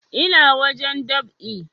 Ina wajen dab'i